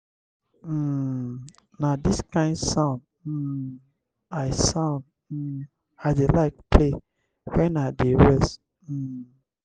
um na dis kain sound um i sound um i dey like play wen i dey rest. um